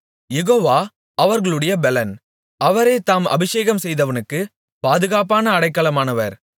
யெகோவா அவர்களுடைய பெலன் அவரே தாம் அபிஷேகம் செய்தவனுக்கு பாதுகாப்பான அடைக்கலமானவர்